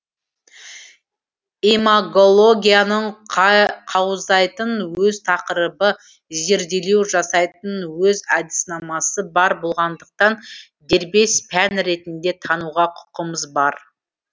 имагологияның қаузайтын өз тақырбы зерделеу жасайтын өз әдіснамасы бар болғандықтан дербес пән ретінде тануға құқымыз бар